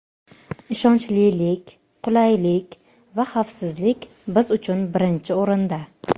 Ishonchlilik, qulaylik va xavfsizlik biz uchun birinchi o‘rinda.